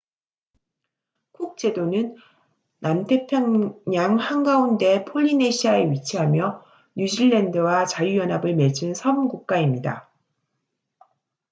쿡 제도는 남태평양 한가운데 폴리네시아에 위치하며 뉴질랜드와 자유연합을 맺은 섬 국가입니다